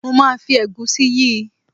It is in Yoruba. Mo máa fi ẹ̀gúsí yí i.